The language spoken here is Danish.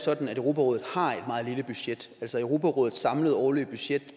sådan at europarådet har et meget lille budget altså europarådets samlede årlige budget